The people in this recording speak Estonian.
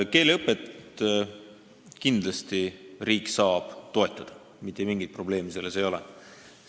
Keeleõpet saab riik kindlasti toetada, mitte mingit probleemi ei ole.